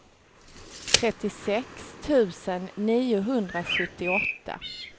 trettiosex tusen niohundrasjuttioåtta